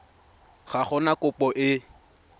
ga go na kopo e